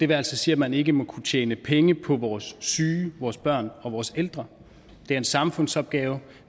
vil altså sige at man ikke må kunne tjene penge på vores syge vores børn og vores ældre det er en samfundsopgave